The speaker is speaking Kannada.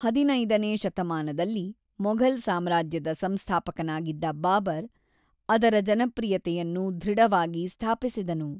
ಹದಿನೈದು ನೇ ಶತಮಾನದಲ್ಲಿ ಮೊಘಲ್ ಸಾಮ್ರಾಜ್ಯದ ಸಂಸ್ಥಾಪಕನಾಗಿದ್ದ ಬಾಬರ್, ಅದರ ಜನಪ್ರಿಯತೆಯನ್ನು ದೃಢವಾಗಿ ಸ್ಥಾಪಿಸಿದನು.